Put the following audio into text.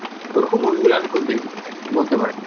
ওরকম movie গুলো আমি খুব দেখি বলতে পারেন।